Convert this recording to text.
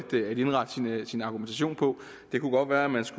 indrette sin argumentation på det kunne godt være man så